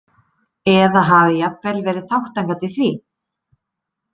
Eða hafi jafnvel verið þátttakandi í því?